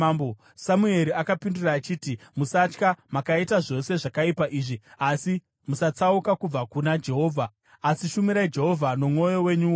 Samueri akapindura achiti, “Musatya. Makaita zvose zvakaipa izvi; asi musatsauka kubva kuna Jehovha, asi shumirai Jehovha nomwoyo wenyu wose.